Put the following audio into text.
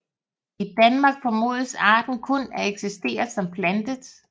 I Danmark formodes arten kun at eksistere som plantet